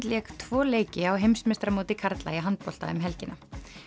lék tvo leiki á heimsmeistaramóti karla í handbolta um helgina